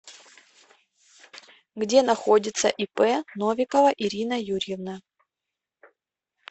где находится ип новикова ирина юрьевна